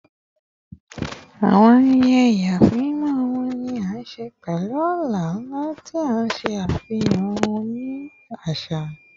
Awọn ayẹyẹ ìyàsímímọ ọmọ ni a ṣe pẹlu ọlá-nla, ti n ṣe afihan ohun-ini aṣa